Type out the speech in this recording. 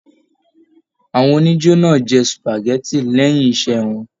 Àwọn onijo náà jẹ supágẹ̀tì lẹyìn iṣẹ wọn.